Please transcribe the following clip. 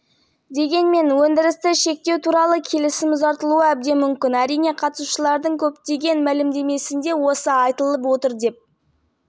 мысалы ресейдің энергетика министрі александр новак қыркүйектің басында мәмілені ұзарту туралы шешім мұнай қорларының мақсатты төмендеуіне қол жеткізілмеген жағдайда жасалуы мүмкін